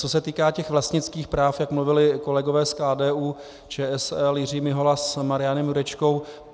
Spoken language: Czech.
Co se týká těch vlastnických práv, jak mluvili kolegové z KDU-ČSL, Jiří Mihola s Marianem Jurečkou.